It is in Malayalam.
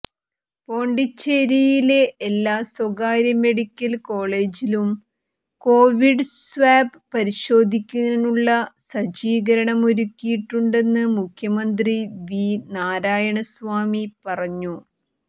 പോണ്ടിച്ചേരിയിലെ എല്ലാ സ്വകാര്യമെഡിക്കല് കോളജിലും കൊവിഡ് സ്വാബ് പരിശോധിക്കാനുള്ള സജ്ജീകരണമൊരുക്കിയിട്ടുണ്ടെന്ന് മുഖ്യമന്ത്രി വി നാരായണസാമി പറഞ്ഞു